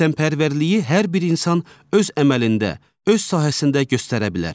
Vətənpərvərliyi hər bir insan öz əməlində, öz sahəsində göstərə bilər.